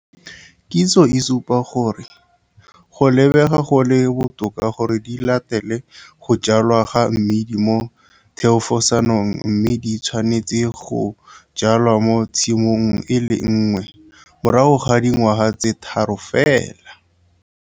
Kitso e supa gore go lebega go le botoka gore di latele go jwalwa ga mmidi mo thefosanong mme di tshwanetse go jwalwa mo tshimong e le nngwe morago ga dingwaga tse tharo fela.